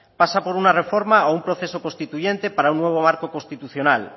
pasa por una reforma o un proceso constituyente para un nuevo marco constitucional